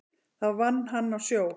Þar vann hann á sjó.